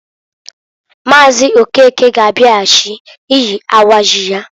Maazi Okeke ga abiaghachi iyi awa ji ya.